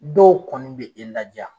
Dɔw kɔni bɛ e laja.